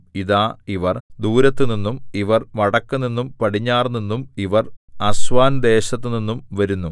ഇതാ ഇവർ ദൂരത്തുനിന്നും ഇവർ വടക്കുനിന്നും പടിഞ്ഞാറുനിന്നും ഇവർ അസ്വാന്‍ ദേശത്തുനിന്നും വരുന്നു